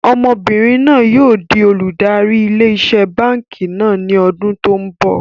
Ọmọbìnrin náà yìí ó di olùdarí ilé iṣẹ́ báànkì náà ni ọdún tòun bọ̀.